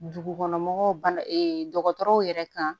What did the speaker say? Dugukɔnɔmɔgɔw banna dɔgɔtɔrɔw yɛrɛ kan